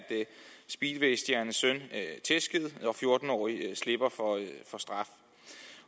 speedwaystjernes søn tæsket og fjorten årig slipper for straf